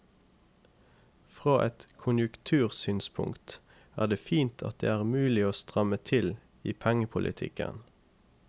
Fra et konjunktursynspunkt er det fint at det er mulig å stramme til i pengepolitikken.